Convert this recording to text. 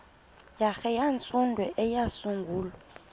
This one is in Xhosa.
hare yabantsundu eyasungulwa